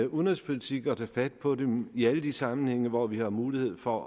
udenrigspolitik at tage fat på dem i alle de sammenhænge hvor vi har mulighed for